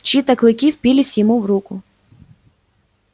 чьи-то клыки впились ему в руку